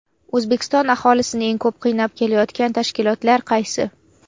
O‘zbekiston aholisini eng ko‘p qiynab kelayotgan tashkilotlar qaysi?.